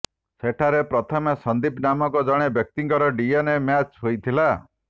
ସେଠାରେ ପ୍ରଥମେ ସନ୍ଦୀପ ନାମକ ଜଣେ ବ୍ୟକ୍ତିଙ୍କର ଡିଏନ୍ଏ ମ୍ୟାଚ୍ ହୋଇଥିଲା